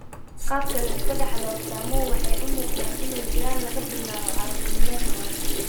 Qaabka la iska dhaxlo, astaamuhu waxay u muuqdaan inay jiraan laga bilaabo carruurnimada hore.